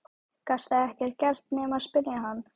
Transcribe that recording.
Gastu ekkert gert nema spyrja hann?